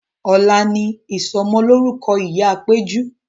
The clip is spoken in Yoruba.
Ọ̀la ni ìsọ'mọlórúkọ ìyá péjú